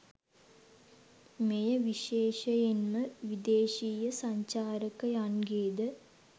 මෙය විශේෂයෙන්ම විදේශීය සංචාරකයන්ගේද